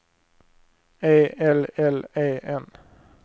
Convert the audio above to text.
E L L E N